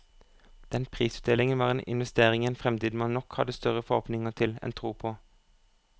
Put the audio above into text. Den prisutdelingen var en investering i en fremtid man nok hadde større forhåpninger til enn tro på.